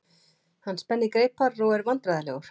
Hann spennir greipar og er vandræðalegur.